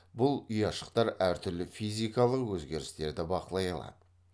бұл ұяшықтар әртүрлі физикалық өзгерістерді бақылай алады